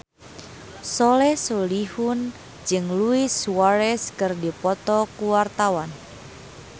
Soleh Solihun jeung Luis Suarez keur dipoto ku wartawan